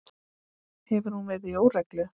Hefur hún verið í óreglu?